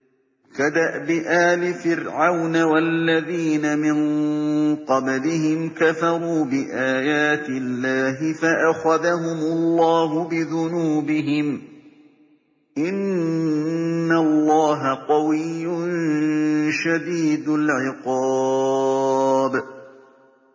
كَدَأْبِ آلِ فِرْعَوْنَ ۙ وَالَّذِينَ مِن قَبْلِهِمْ ۚ كَفَرُوا بِآيَاتِ اللَّهِ فَأَخَذَهُمُ اللَّهُ بِذُنُوبِهِمْ ۗ إِنَّ اللَّهَ قَوِيٌّ شَدِيدُ الْعِقَابِ